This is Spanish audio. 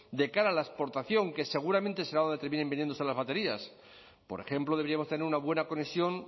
de cara a la exportación que seguramente será donde terminen vendiéndose las baterías por ejemplo deberíamos tener una buena conexión